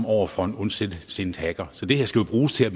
over for en ondsindet hacker så det her skal jo bruges til at